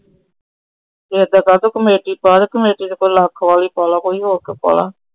ਏਦਾਂ ਕਰ ਤੂੰ ਕਮੇਟੀ ਪਾ, ਕਮੇਟੀ ਕੋਈ ਲੱਖ ਵਾਲੀ ਪਾਲੇ ਕੋਈ ਹੋਰ ਕੋਈ ਪਾਲੇ।